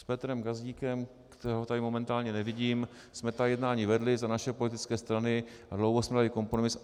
S Petrem Gazdíkem, kterého tady momentálně nevidím, jsme ta jednání vedli za naše politické strany a dlouho jsme hledali kompromis.